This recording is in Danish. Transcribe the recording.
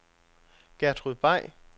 Gertrud Bay